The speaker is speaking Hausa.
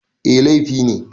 Eh, laifi ne